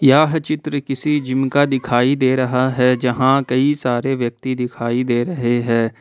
यह चित्र किसी जिम का दिखाई दे रहा है जहां कई सारे व्यक्ति दिखाई दे रहे हैं।